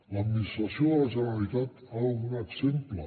l’administració de la generalitat ha de donar exemple